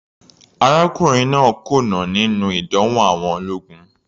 Arákùnrin náà kùnà níní ìdánwò àwọn ológun.